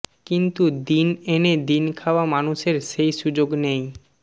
কিন্তু দিন এনে দিন খাওয়া মানুষের সেই সুযোগ নেই